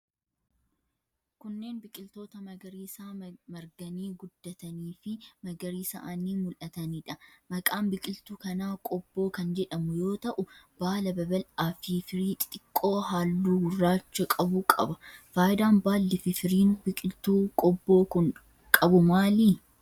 Kunneen biqiltoota magariisaa marganii, guddatanii fi magariisa'anii mul'atanii dha. Maqaan biqiltuu kanaa qobboo kan jedhamu yoo ta'u ,baala babal'aa fi firii xixiqqoo haalluu gurraacha qbu qaba. Faayidaan baalli fi firiin biqiltuu qobboo qabu maali?